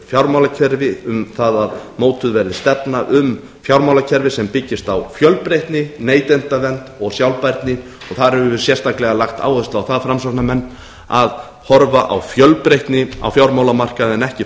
fjármálakerfi um það að mótuð verði stefna um fjármálakerfi sem byggist á fjölbreytni neytendavernd og sjálfbærni og þar höfum við sérstaklega lagt áherslu á það framsóknarmenn að horfa á fjölbreytni á fjármálamarkaði en ekki